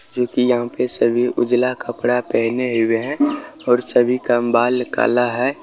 जो कि यहाँ पे सभी उजला कपडा पहने हुए हैं और सभी का बाल काला है।